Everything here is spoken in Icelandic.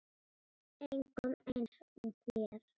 Engum eins og þér.